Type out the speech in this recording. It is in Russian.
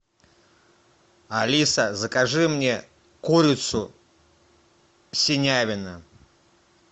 алиса закажи мне курицу синявино